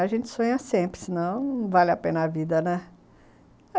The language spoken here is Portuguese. A gente sonha sempre, senão não vale a pena a vida, né?